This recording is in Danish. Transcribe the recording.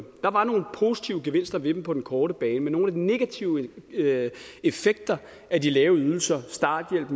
der var nogle positive gevinster ved dem på den korte bane men nogle af de negative effekter af de lave ydelser starthjælp